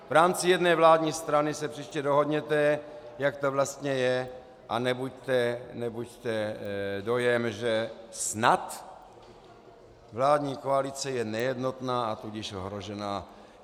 V rámci jedné vládní strany se příště dohodněte, jak to vlastně je, a nebuďte dojem, že snad vládní koalice je nejednotná, a tudíž ohrožená.